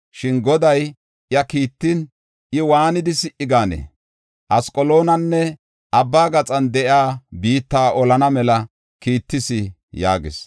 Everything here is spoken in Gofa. Shin Goday iya kiittin, I waanidi si77i gaanee? Asqaloonanne abba gaxan de7iya biitta olana mela kiittas” yaagis.